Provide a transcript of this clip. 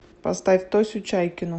поставь тосю чайкину